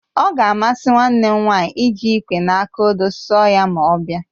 Ọ ga-amasị nwanne m nwaanyị iji ịkwé na aka odo sụọ ya ma ọ bịa